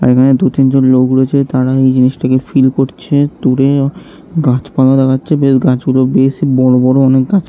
এইখানে দু তিনজন লোক রয়েছে | তারা এই জিনিসটাকে ফীল করছে | দূরে গাছপালা দেখা যাচ্ছে। বেশ গাছগুলো বেশ বড় বড় অনেক গছ--